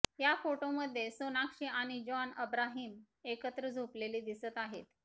या फोटोमध्ये सोनाक्षी आणि जॉन अब्राहिम एकत्र झोपलेले दिसत आहेत